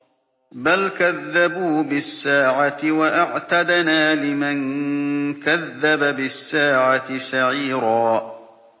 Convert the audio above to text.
بَلْ كَذَّبُوا بِالسَّاعَةِ ۖ وَأَعْتَدْنَا لِمَن كَذَّبَ بِالسَّاعَةِ سَعِيرًا